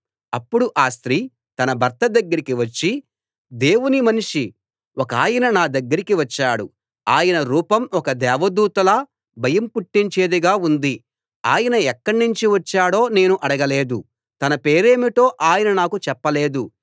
అప్పుడు ఆ స్త్రీ తన భర్త దగ్గరికి వచ్చి దేవుని మనిషి ఒకాయన నా దగ్గరికి వచ్చాడు ఆయన రూపం ఒక దేవదూతలా భయం పుట్టించేది గా ఉంది ఆయన ఎక్కడ్నించి వచ్చాడో నేను అడగలేదు తన పేరేమిటో ఆయన నాకు చెప్పలేదు